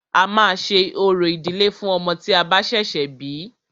A máà ṣe orò ìdílé fún ọmọ tí a bá ṣẹ̀ṣẹ̀ bí.